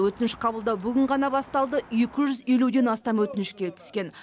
өтініш қабылдау бүгін ғана басталды екі жүз елуден астам өтініш келіп түскен